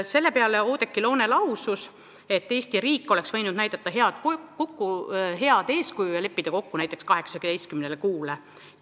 Selle peale Oudekki Loone lausus, et Eesti riik oleks võinud näidata head eeskuju ja leppida kokku 18 kuu peale.